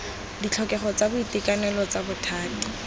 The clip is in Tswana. ditlhokego tsa boitekanelo tsa bothati